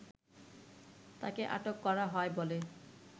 তাকে আটক করা হয় বলে